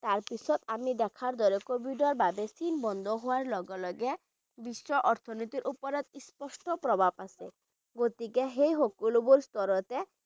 তাৰ পিছত আমি দেখাৰ দৰে চীন বন্ধ হোৱাৰ লগে লগে বিশ্বৰ অৰ্থ্নীতিৰ ওপৰত স্পষ্ট প্ৰভাৱ আছে গতিকে সেই সকলোবোৰ স্তৰতে